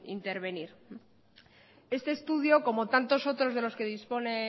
intervenir este estudio como tantos otros de los que dispone